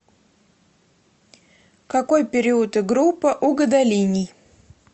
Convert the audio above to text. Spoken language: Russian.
какой период и группа у гадолиний